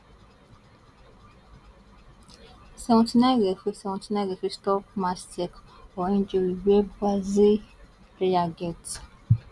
seventy nine referee seventy nine referee stop match sake or injury wey brazil player get